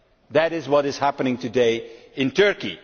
That is what is happening today in Turkey.